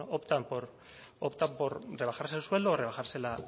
bueno optan por rebajarse el sueldo o rebajarse